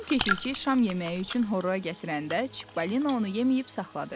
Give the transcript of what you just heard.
Axşam keşişçi şam yeməyi üçün horra gətirəndə Çippolina onu yeyməyib saxladı.